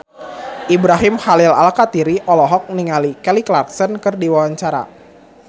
Ibrahim Khalil Alkatiri olohok ningali Kelly Clarkson keur diwawancara